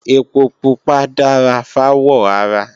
Ẹpo pupa dára fáwọ̀ ara